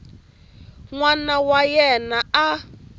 n wana wa yena a